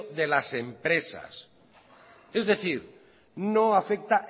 de las empresas es decir no afecta